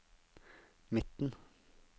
midten